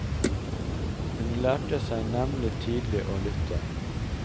Hun lærte seg nemlig tidlig å lytte.